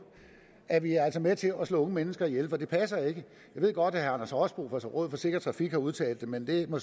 er vi altså med til at slå unge mennesker ihjel for det passer ikke jeg ved godt at anders rosbo fra rådet for sikker trafik har udtalt det men det må